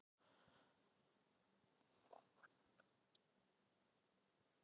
Þess ber að geta að liðið tapaði einum heimaleik eftir að titillinn var tryggður.